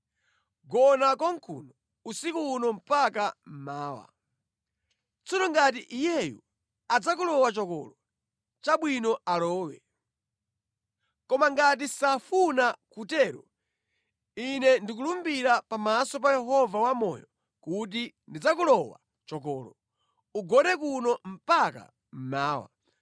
Gona konkuno usiku uno mpaka mmawa. Tsono ngati iyeyu adzakulowa chokolo, chabwino alowe. Koma ngati safuna kutero, ine ndikulumbira pamaso pa Yehova Wamoyo kuti ndidzakulowa chokolo. Ugone kuno mpaka mmawa.”